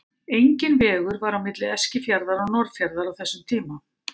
Enginn vegur var á milli Eskifjarðar og Norðfjarðar á þessum tíma.